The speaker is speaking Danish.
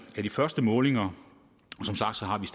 af de første målinger